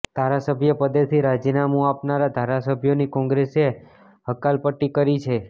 ધારાસભ્ય પદેથી રાજીનામુ આપનારા ધારાસભ્યોની કોંગ્રેસે હકાલપટ્ટી કરી છે